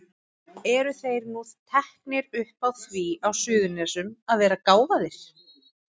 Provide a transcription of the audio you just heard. Eru þeir nú teknir upp á því á Suðurnesjum að vera gáfaðir?